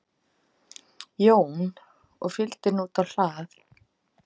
Jón og fylgdi henni út á hlað.